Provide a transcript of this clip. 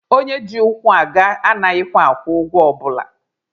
Onye ji ụkwụ aga anaghịkwa akwụ ụgwọ ọbụla.